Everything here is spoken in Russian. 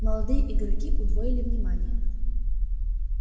молодые игроки удвоили внимание